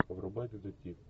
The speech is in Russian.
врубай детектив